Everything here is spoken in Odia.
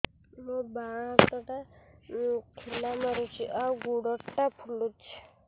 ମୋ ବାଆଁ ହାତଟା ଖିଲା ମାରୁଚି ଆଉ ଗୁଡ଼ ଟା ଫୁଲୁଚି